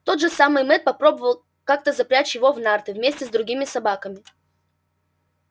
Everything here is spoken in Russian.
тот же самый мэтт попробовал как-то запрячь его в нарты вместе с другими собаками